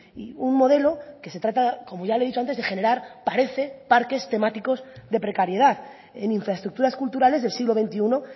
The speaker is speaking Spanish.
y un modelo que se trata como ya le he dicho antes de generar parece parques temáticos de precariedad en infraestructuras culturales del siglo veintiuno